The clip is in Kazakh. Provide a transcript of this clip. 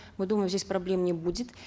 мы думаем здесь проблем не будет